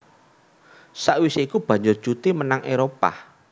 Sakwisé iku banjur cuti menyang Éropah